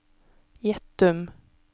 Gjettum